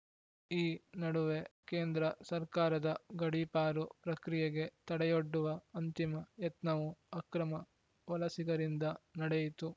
ಈ ನಡುವೆ ಕೇಂದ್ರ ಸರ್ಕಾರದ ಗಡೀಪಾರು ಪ್ರಕ್ರಿಯೆಗೆ ತಡೆಯೊಡ್ಡುವ ಅಂತಿಮ ಯತ್ನವೂ ಅಕ್ರಮ ವಲಸಿಗರಿಂದ ನಡೆಯಿತು